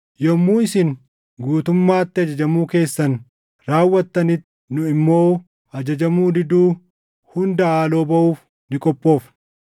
Yommuu isin guutummaatti ajajamuu keessan raawwattanitti, nu immoo ajajamuu diduu hunda haaloo baʼuuf ni qophoofna.